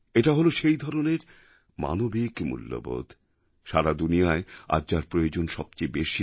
এটা হল সেই ধরনের মানবিক মূল্যবোধ সারা দুনিয়ায় আজ যার প্রয়োজন সবচেয়ে বেশি